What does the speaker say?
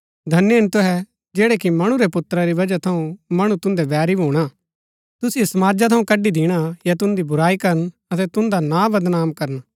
धन्य हिन तुहै जैहणै कि मणु रै पुत्रा री वजह थऊँ मणु तुन्दै बैरी भूणा तुसिओ समाजा थऊँ कड़ी दिणा या तुन्दी बुराई करन अतै तुन्दा नां बदनाम करना